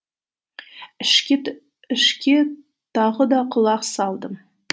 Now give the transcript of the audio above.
ішке тағы да құлақ салдым